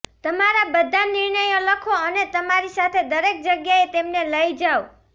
તમારા બધા નિર્ણયો લખો અને તમારી સાથે દરેક જગ્યાએ તેમને લઈ જાઓ